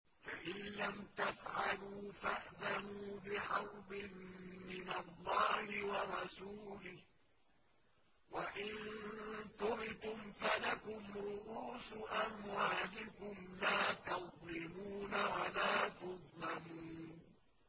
فَإِن لَّمْ تَفْعَلُوا فَأْذَنُوا بِحَرْبٍ مِّنَ اللَّهِ وَرَسُولِهِ ۖ وَإِن تُبْتُمْ فَلَكُمْ رُءُوسُ أَمْوَالِكُمْ لَا تَظْلِمُونَ وَلَا تُظْلَمُونَ